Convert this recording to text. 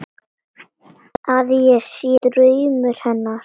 Að ég sé draumur hennar.